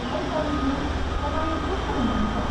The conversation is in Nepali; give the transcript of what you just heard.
हाय करिश्मा, तपाईँ कस्तो हुनुहुन्छ?